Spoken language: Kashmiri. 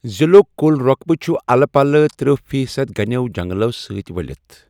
ضِلُعک کُل رۄقبہِ چُھ اَلہٕ پَلہٕ تٔرہ فی صد گَنیو جَنٛگلو سۭتہِ وٕلِتھ ۔